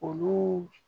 Olu